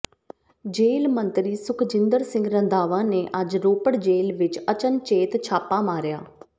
ਜੇਲ੍ਹ ਮੰਤਰੀ ਸੁਖਜਿੰਦਰ ਸਿੰਘ ਰੰਧਾਵਾ ਨੇ ਅੱਜ ਰੋਪੜ ਜੇਲ੍ਹ ਵਿਚ ਅਚਨਚੇਤ ਛਾਪਾ ਮਾਰਿਆ